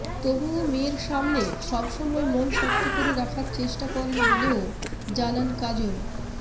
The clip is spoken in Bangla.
তবুও মেয়ের সামনে সব সময় মন শক্ত করে রাখার চেষ্টা করেন বলেও জানান কাজল